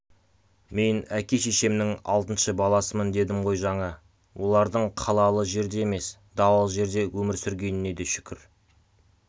мен әке-шешемнің алтыншы баласымын дедім ғой жаңа олардың қалалы жерде емес далалы жерде өмір сүргеніне де шүкір